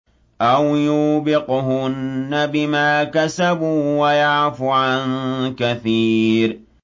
أَوْ يُوبِقْهُنَّ بِمَا كَسَبُوا وَيَعْفُ عَن كَثِيرٍ